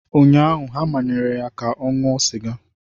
Ụnyaahụ, ha manyere ya ka ọ ṅụọ sịga.